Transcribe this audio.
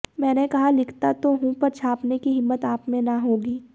मैंने कहा लिखता तो हूं पर छापने की हिम्मत आप में न होगी